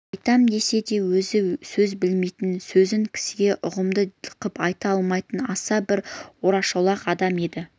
айтам десе де өзі сөз білмейтін сөзін кісіге ұғымды қып айта алмайтын аса бір орашолақ адам еді